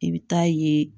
I bɛ taa ye